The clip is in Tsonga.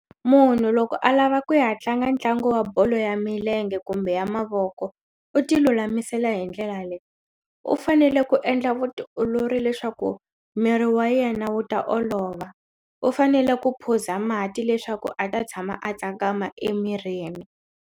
Munhu loko a lava ku ya tlanga ntlangu wa bolo ya milenge kumbe ya mavoko u ti lulamisela hi ndlela leyi u fanele ku endla vutiolori leswaku miri wa yena wu ta olova u fanele ku phuza mati leswaku a ta tshama a tsakama emirini.